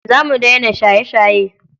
Za mu daina shaye-shaye.